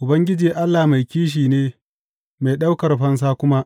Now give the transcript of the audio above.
Ubangiji Allah mai kishi ne, mai ɗaukar fansa kuma.